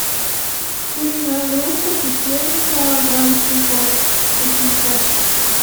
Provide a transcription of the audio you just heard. куриная грудка петелинка грамм семьсот восемьсот